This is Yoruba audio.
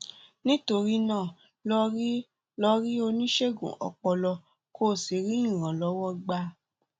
nítorí náà lọ rí lọ rí oníṣègùn ọpọlọ kó o sì rí ìrànlọwọ gbà